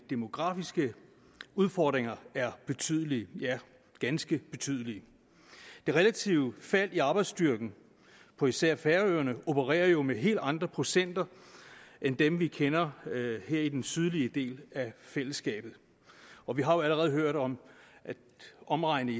demografiske udfordringer er betydelige ja ganske betydelige i det relative fald i arbejdsstyrken på især færøerne opereres der jo med helt andre procenter end dem vi kender her i den sydlige del af fællesskabet og vi har allerede hørt om at omregnet